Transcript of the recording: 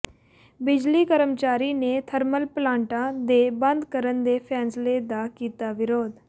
ਬਿਜਲੀ ਕਰਮਚਾਰੀ ਨੇ ਥਰਮਲ ਪਲਾਟਾਂ ਦੇ ਬੰਦ ਕਰਨ ਦੇ ਫ਼ੈਸਲਾ ਦਾ ਕੀਤਾ ਵਿਰੋਧ